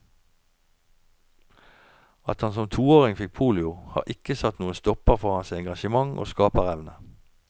At han som toåring fikk polio, har ikke satt noen stopper for hans engasjement og skaperevne.